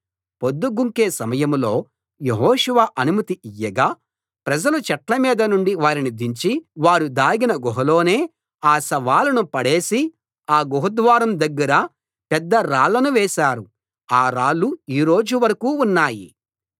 పొద్దుగుంకే సమయంలో యెహోషువ అనుమతి ఇయ్యగా ప్రజలు చెట్ల మీద నుండి వారిని దించి వారు దాగిన గుహలోనే ఆ శవాలను పడేసి ఆ గుహ ద్వారం దగ్గర పెద్ద రాళ్లను వేశారు ఆ రాళ్లు ఈ రోజు వరకూ ఉన్నాయి